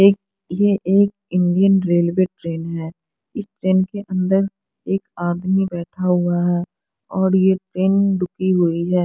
ये एक Indian railway train है इस ट्रेन के अंदर एक आदमी बैठा हुआ और ये ट्रेन रुकी हुई है।